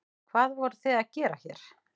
Hvað voruð þið að gera hér?